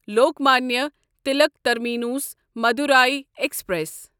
Lokmanya Tilak terminus Madurai express